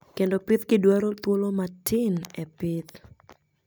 kendo pithgi dwaro thuolo matin epith